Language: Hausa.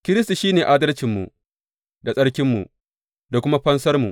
Kiristi shi ne adalcinmu, da tsarkinmu, da kuma fansarmu.